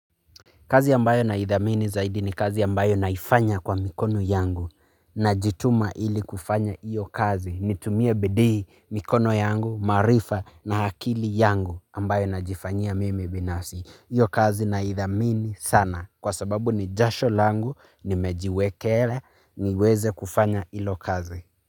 Kazi ambayo naidhamini zaidi ni kazi ambayo naifanya kwa mikono yangu najituma ili kufanya hiyo kazi nitumie bidii mikono yangu maarifa na akili yangu ambayo najifanyia mimi binafsi. Hiyo kazi naidhamini sana kwa sababu ni jasho langu nimejiwekele niweze kufanya hilo kazi.